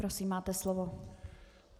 Prosím, máte slovo.